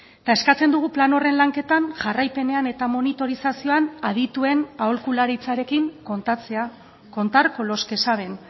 eta eskatzen dugu plan horren lanketan jarraipenean eta monitorizazioan adituen aholkularitzarekin kontatzea contar con los que saben